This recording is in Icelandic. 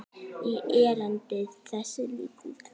í erindi þessi lítil tvö.